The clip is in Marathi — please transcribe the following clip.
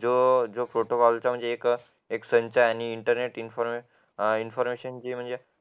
जो प्रोटोकॉल चा एक संच आणि इंटर नेट इंफॉर्मेशन चा